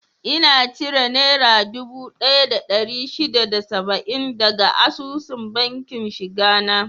Ina cire naira dubu daya da dari shida da saba'in daga asusun bankin shiga na